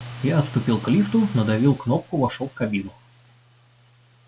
я отступил к лифту надавил кнопку вошёл в кабину